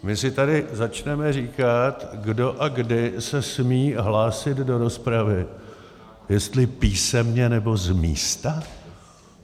My si tady začneme říkat, kdo a kdy se smí hlásit do rozpravy, jestli písemně, nebo z místa?